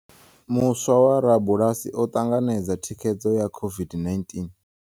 Muswa wa rabulasi o ṱanganedza thikhedzo ya COVID-19